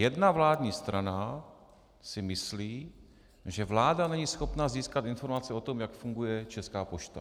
Jedna vládní strana si myslí, že vláda není schopna získat informace o tom, jak funguje Česká pošta.